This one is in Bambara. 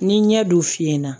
Ni ɲɛ don finna